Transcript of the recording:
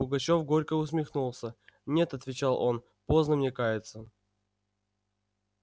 пугачёв горько усмехнулся нет отвечал он поздно мне каяться